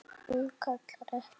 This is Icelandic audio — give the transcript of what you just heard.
Hún kallar ekki: